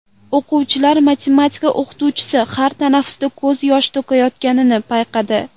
O‘quvchilar matematika o‘qituvchisi har tanaffusda ko‘z yosh to‘kayotganini payqadi.